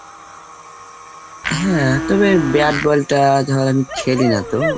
হ্যাঁ, তবে bat ball টা ধর আমি খেলি না তো।